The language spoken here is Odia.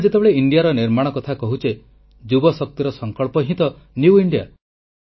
ଆମେ ଯେତେବେଳେ ଇଣ୍ଡିଆର ନିର୍ମାଣ କଥା କହୁଛେ ଯୁବଶକ୍ତିର ସଂକଳ୍ପ ହିଁ ନିଉ ଇଣ୍ଡିଆ